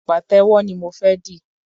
Pàtẹ́wọ́ ni mo fé di.